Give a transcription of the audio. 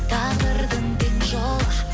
тағдырдың тең жолы